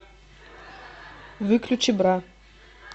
выключи бра